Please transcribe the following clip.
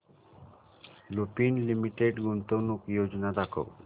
Lupin limited गुंतवणूक योजना दाखव